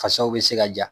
Fasaw bɛ se ka ja